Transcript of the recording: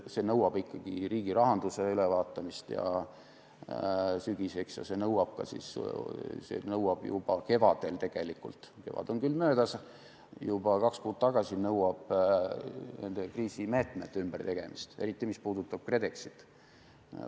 See nõuab ikkagi riigirahanduse ülevaatamist sügiseks ja see nõuab juba kevadel – kevad on küll möödas –, nii et tegelikult nõudis see juba kaks kuud tagasi kriisimeetmete ümbertegemist, eriti mis puudutab KredExit.